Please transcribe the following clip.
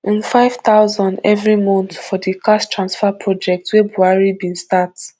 nfive thousand every month for di cash transfer project wey buhari bin start